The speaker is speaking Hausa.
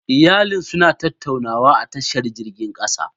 Iyalin suna tattaunawa a tashar jirgin kasa.